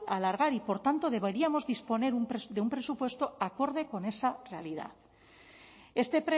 alargar y por tanto deberíamos disponer de un presupuesto acorde con esa realidad este